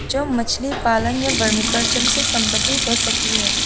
जो मछली पालन या वर्मी कल्चर से संबंधित हो सकती है।